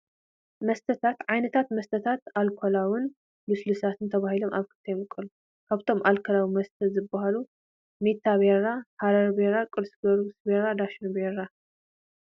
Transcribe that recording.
መስተታት፡- ዓይነታት መስተታት ኣልካላውን ልስሉሳትን ተባሂሎም ኣብ ክልተ ይምቀሉ፡፡ ካብቶም ኣልኮላዊ መስተታት ዝባሃሉ ሜታ ቢራ፣ ሐረር ቢራ፣ ቅ/ጊዎርግስ ቢራን ዳሽን ቢራን፡፡